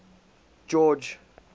george